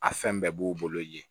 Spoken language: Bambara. A fɛn bɛɛ b'o bolo yen